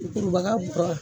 kurubaga bɔ